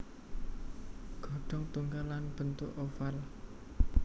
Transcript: Ghodong tunggal lan bentuk oval